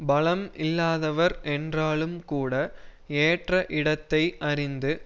பலம் இல்லாதவர் என்றாலும் கூட ஏற்ற இடத்தை அறிந்து